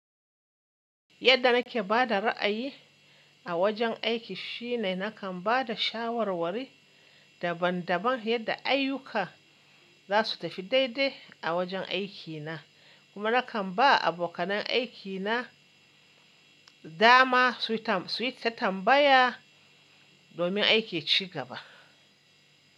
Yadda nake ba da ra'ayi a wajen aiki shine nakan ba da shawarwari daban-daban yadda ayyuka za su tafi daidai a wajen aikina, kuma nakan ba abokan aikina dama su tambaya domin aiki ci gaba.